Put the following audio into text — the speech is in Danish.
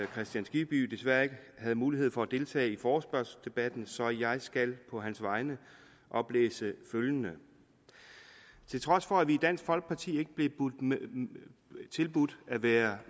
kristian skibby desværre ikke havde mulighed for at deltage i forespørgselsdebatten så jeg skal på hans vegne oplæse følgende til trods for at vi i dansk folkeparti ikke blev tilbudt at være